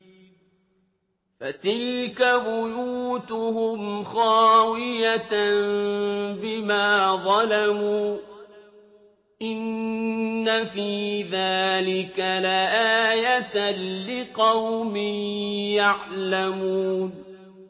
فَتِلْكَ بُيُوتُهُمْ خَاوِيَةً بِمَا ظَلَمُوا ۗ إِنَّ فِي ذَٰلِكَ لَآيَةً لِّقَوْمٍ يَعْلَمُونَ